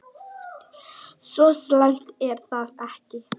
Svo slæmt er það ekki.